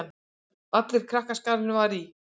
Allur krakkaskarinn var í